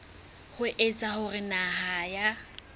ho etsa hore naha ya